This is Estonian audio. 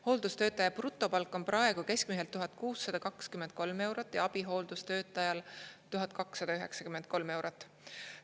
Hooldustöötaja brutopalk on praegu keskmiselt 1623 eurot ja abihooldustöötajal 1293 eurot.